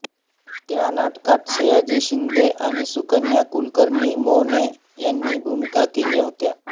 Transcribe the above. त्य नाटकात सयाजी शिंदे आणि सुकन्या कुलकर्णीमोने यांनी भूमिका केल्या होत्या